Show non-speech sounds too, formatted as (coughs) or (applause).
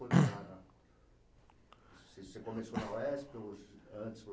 (coughs) (unintelligible) Você, você começou na Uesp ou antes (unintelligible)